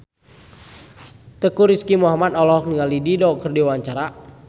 Teuku Rizky Muhammad olohok ningali Dido keur diwawancara